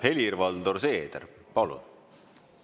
Helir-Valdor Seeder, palun!